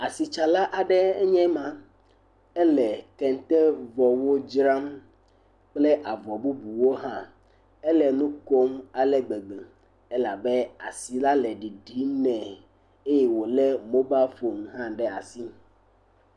Asitsala aɖe enye ma, ele kɛntɛvɔwo dzram kple avɔ bubuwo hã, ele nu kom ale gbegbe elabe asi la ɖiɖim nɛ eye wòlé mobal fon hã ɖe asi.